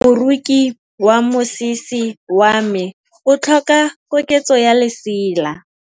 Moroki wa mosese wa me o tlhoka koketsô ya lesela.